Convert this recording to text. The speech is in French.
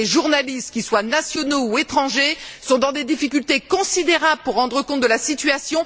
Et les journalistes, qu'ils soient nationaux ou étrangers, sont dans des difficultés considérables pour rendre compte de la situation.